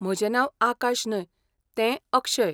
म्हजें नांव आकाश न्हय, तें अक्षय.